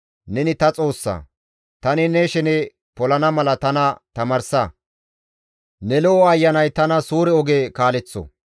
Neni ta Xoossa; tani ne shene polana mala tana tamaarsa; ne lo7o Ayanay tana suure oge kaaleththo.